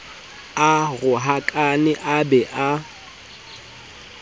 a rohakane a be a